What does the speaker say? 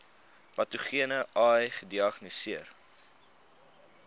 patogene ai gediagnoseer